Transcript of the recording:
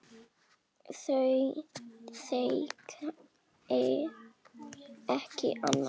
Þau þekki ekki annað.